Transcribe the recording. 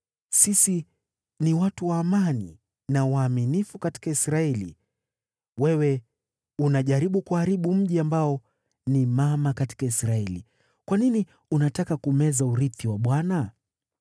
Sisi ni watu wa amani na waaminifu katika Israeli. Wewe unajaribu kuharibu mji ambao ni mama katika Israeli. Kwa nini unataka kumeza urithi wa Bwana ?”